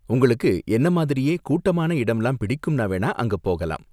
உங்களுக்கு என்ன மாதிரியே கூட்டமான இடம்லாம் பிடிக்கும்னா வேணா அங்க போகலாம்.